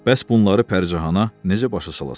Bəs bunları Pəricahana necə başa salasan?